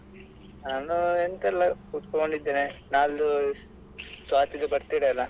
ಆ ನಾನು ಎಂತ ಇಲ್ಲ ಕುತ್ಕೊಂಡಿದ್ದೇನೆ ನಾಳ್ದು ಸ್ವಾತಿದ್ದು birthday ಅಲ್ಲಾ?